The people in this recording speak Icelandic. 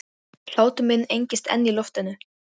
Hlátur minn engist enn í loftinu.